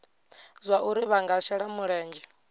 zwauri vha nga shela mulenzhe